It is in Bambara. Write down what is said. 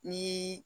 Ni